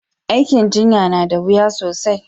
Aikin jinya na da wuya sosai